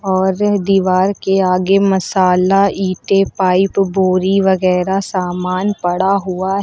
और दीवार के आगे मसाला ईंटे पाइप बोरी वगैरा समान पड़ा हुआ है।